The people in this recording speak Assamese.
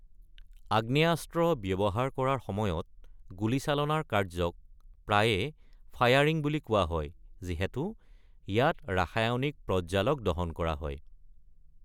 আগ্নেয়াস্ত্ৰ ব্যৱহাৰ কৰাৰ সময়ত, গুলীচালনাৰ কাৰ্য্যক প্ৰায়ে ফায়াৰিং বুলি কোৱা হয় যিহেতু ইয়াত ৰাসায়নিক প্ৰজ্বালক দহন কৰা হয়।